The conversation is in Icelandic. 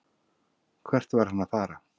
Hvert var hann að fara?